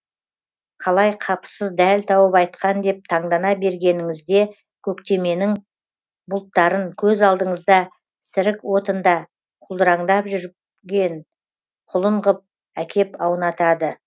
қалай қапысыз дәл тауып айтқан деп таңдана бергеніңізде көктеменің бұлттарын көз алдыңызда сірік отында құлдыраңдап жүрген құлын ғып әкеп аунатады